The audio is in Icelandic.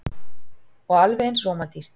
Og alveg eins rómantískt.